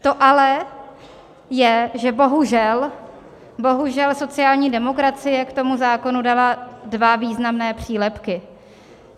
To ale je, že bohužel, bohužel sociální demokracie k tomu zákonu dala dva významné přílepky.